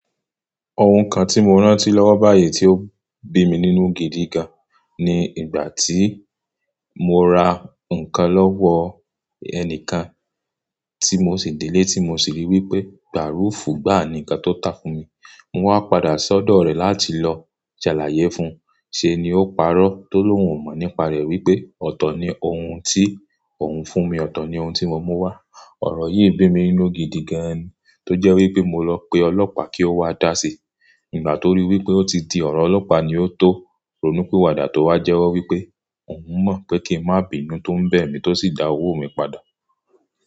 Òhùn kan ti mo rántí lọ́wọ́ báyìí tí ó bí mi nínú gidi gan, ní ìgbà tí mo ra ǹkan lọ́wọ́ ẹnìkan tí mo sì délé tí mo sì rí wípé bárùfù, gbáa nìkan tó tà fún mi. Mo wá padà sọ́dọ̀ rẹ láti lọ jàlàyé fun, ṣé ni ó parọ́, tó lóhùn mọ̀ nípa rẹ wípé ọ̀tọ̀ ni ohun tí òun fún mi, ọ̀tọ̀ ni ohun tí mo mú wá. Ọ̀rọ̀ yìí bí mi nínú gidi gan, tó jẹ́ wípé mo lọ pe ọlọ́pàá kí ó wá dá sí. Ìgbà tó ríi wípé ó ti di ọ̀rọ̀ ọlọ́pàá ni ó tó, ronú pì wàdà tó wá jẹ́wọ́ wípé òun mọ̀ pé kí n má bíi inú tó ń bẹ mí tó sì dá owó mi padà.